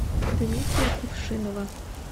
дмитрия кувшинова